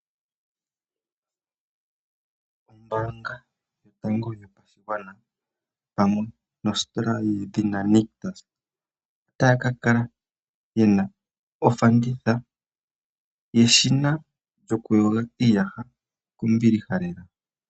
Ombaanga yotango yopashigwana pamwe nositola yedhina Nictus otaya ka kala yena ofanditha yeshina yokuyoga iiyaha kombiliha lela.